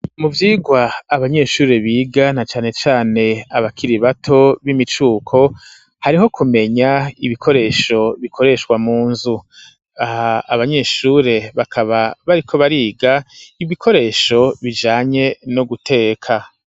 Mu vyigwa abanyeshure biga na canecane abakira bato b'imicuko hariho kumenya ibikoresho bikoreshwa mu nzu aha abanyeshure bakaba bariko bariga ibikoresho bijanye no guteka.